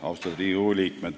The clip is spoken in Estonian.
Austatud Riigikogu liikmed!